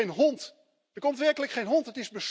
Er komt geen hond, werkelijk geen hond.